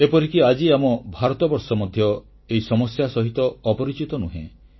ଏପରିକି ଆଜି ଆମ ଭାରତବର୍ଷ ମଧ୍ୟ ଉକ୍ତ ସମସ୍ୟା ସହିତ ଅପରିଚିତ ନୁହେଁ